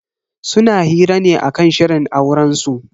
Suna hira ne akan shirin aurensu.